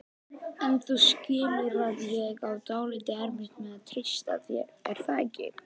En þú skilur að ég á dálítið erfitt með að treysta þér, er það ekki?